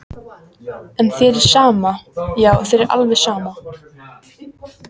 En þér er sama, já þér er alveg sama!